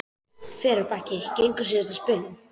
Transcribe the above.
Fer af baki og gengur síðasta spölinn.